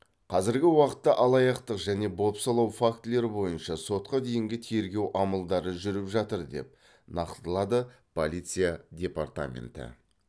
қазіргі уақытта алаяқтық және бопсалау фактілері бойынша сотқа дейінгі тергеу амалдары жүріп жатыр деп нақтылады полиция департаменті